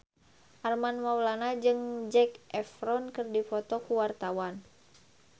Armand Maulana jeung Zac Efron keur dipoto ku wartawan